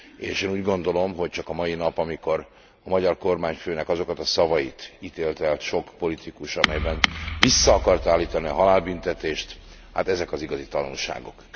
És én úgy gondolom, hogy csak a mai nap, amikor a magyar kormányfőnek azokat a szavait ítélte el sok politikus, amelyben vissza akarta állítani a halálbüntetést, hát ezek az igazi tanúságok.